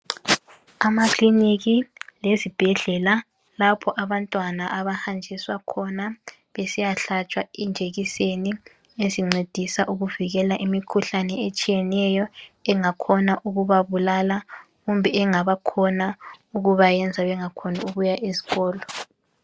Amakiliniki lezibhedlela lapha abantwana abahanjiswa khona besiyahlatshwa ijekiseni ezincedisa ukuvikela imikhuhlane etshiyeneyo engakhona ukubabulala kumbe engabakhona ukubayenza bengakhoni ukuya esikolo.